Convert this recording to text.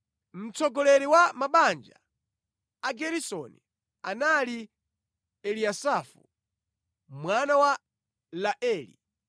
Mtsogoleri wa mabanja a Ageresoni anali Eliyasafu mwana wa Laeli.